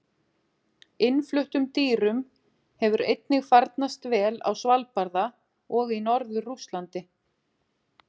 Innfluttum dýrum hefur einnig farnast vel á Svalbarða og í norður Rússlandi.